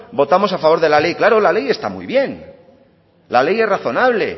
votamos a favor de la ley claro la ley está muy bien la ley es razonable